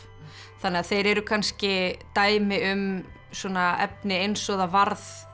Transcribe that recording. þannig að þeir eru kannski dæmi um svona efni eins og það varð